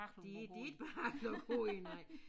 De de ikke behagelige at gå i nej